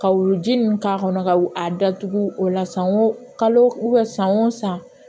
Ka wuluji ninnu k'a kɔnɔ ka a datugu o la san wo kalo san o san